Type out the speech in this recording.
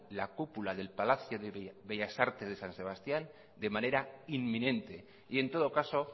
la cúpula del palacio bellas artes de san sebastián de manera inminente y en todo caso